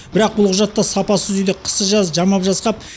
бірақ бұл құжатта сапасыз үйді қысы жазы жамап жасқап